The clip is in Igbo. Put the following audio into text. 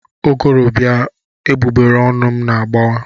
Ụgụrụ bịa, egbugbereọnụ m agbà waa.